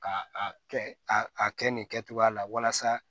Ka a kɛ a a kɛ nin kɛcogoya la walasa